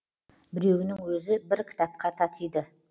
біреуінің өзі бір кітапқа татиды